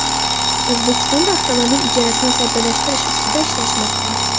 O‘zbekistonda avtomobil ijarasini soddalashtirish ustida ishlashmoqda .